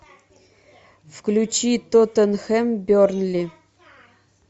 включи тоттенхэм бернли